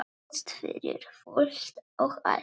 Helst fyrir fullt og allt.